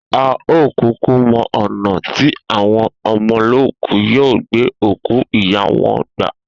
A ò kúkú mo̩ ò̩nà tí àwon o̩mo̩lóòkú yóò gbé òkú ìyá wo̩n gbà.